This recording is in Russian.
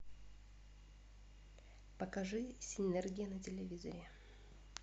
покажи синергия на телевизоре